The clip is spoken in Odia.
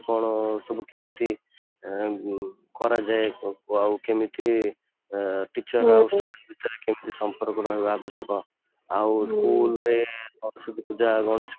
କ'ଣ ସବୁ କେମିତି ଆଁ ଯୋଉ ଯେମିତି କରାଯାଏ ଆଉ କେମିତି ଆଁ teacher ମାନଙ୍କ ସହିତ କେମିତି ସମ୍ପର୍କ ରହିବା ଆବଶ୍ୟକ ଆଉ school ରେ ସରସ୍ବତୀ ପୂଜା, ଗଣେଶ